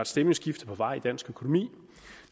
stemningsskifte på vej i dansk økonomi